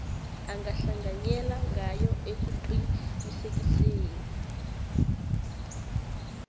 angahlanganyela ngayo ekuqinisekiseni